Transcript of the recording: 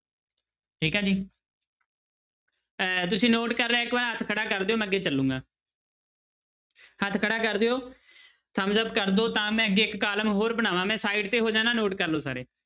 ਠੀਕ ਹੈ ਜੀ ਅਹ ਤੁਸੀਂ note ਕਰ ਲਿਆ ਇੱਕ ਵਾਰ ਹੱਥ ਖੜਾ ਕਰ ਦਿਓ ਮੈਂ ਅੱਗੇ ਚੱਲਾਂਗਾ ਹੱਥ ਖੜਾ ਕਰ ਦਿਓ thumbs up ਕਰ ਦਓ ਤਾਂ ਮੈਂ ਅੱਗੇ ਇੱਕ column ਹੋਰ ਬਣਾਵਾਂ ਮੈਂ side ਤੇ ਹੋ ਜਾਨਾ note ਕਰ ਲਓ ਸਾਰੇ।